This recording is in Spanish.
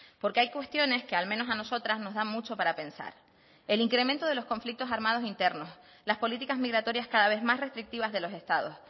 porque hay cuestiones que al menos a nosotras nos da mucho para pensar el incremento de los conflictos armados internos las políticas migratorias cada vez más restrictivas de los estados